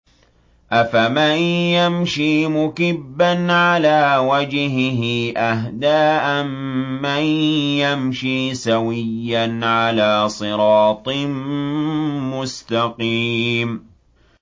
أَفَمَن يَمْشِي مُكِبًّا عَلَىٰ وَجْهِهِ أَهْدَىٰ أَمَّن يَمْشِي سَوِيًّا عَلَىٰ صِرَاطٍ مُّسْتَقِيمٍ